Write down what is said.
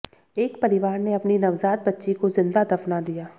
एक परिवार ने अपनी नवजात बच्ची को जिंदा दफना दिया